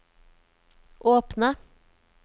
åpne